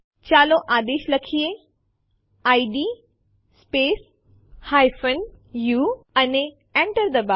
ચાલો આદેશ લખીએ ઇડ સ્પેસ ઉ અને Enter ડબાઓ